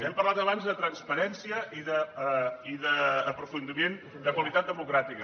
hem parlat abans de transparència i d’aprofundiment de qualitat democràtica